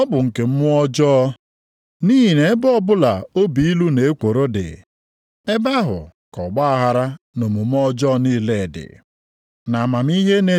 Ụdị amamihe dị otu ahụ esiteghị nʼeluigwe bịa. Ọ bụ amamihe nke ụwa. Ọ bụghị nke mmụọ nsọ. Ọ bụ nke mmụọ ọjọọ.